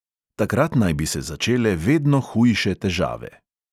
Takrat naj bi se začele vedno hujše težave.